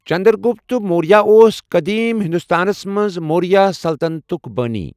چندرگٗپت موریہ اوس قٔدیٖم ہندوستانَس منٛز موریہ سلطنتُک بٲنی ۔